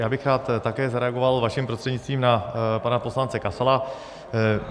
Já bych rád také zareagoval vaším prostřednictvím na pana poslance Kasala.